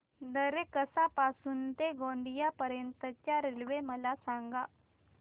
दरेकसा पासून ते गोंदिया पर्यंत च्या रेल्वे मला सांगा